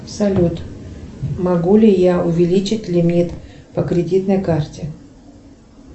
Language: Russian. салют могу ли я увеличить лимит по кредитной карте